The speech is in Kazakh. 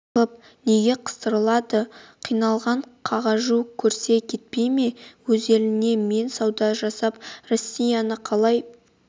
тығып неге қыстырылады қиналып қағажу көрсе кетпей ме өз еліне мен сауда жасап россияның талай